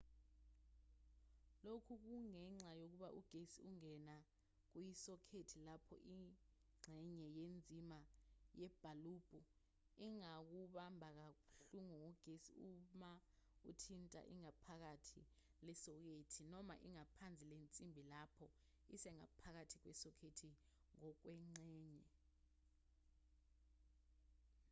lokhu kungenxa yokuba ugesi ungena kuyisokhethi lapho ingxenye yenzimbi yebhalubhu ingakubamba kabuhlungu ngogesi uma uthinta ingaphakathi lesokhethi noma ingaphansi lensimbi lapho isengaphakathi kwesokhethi ngokwengxenye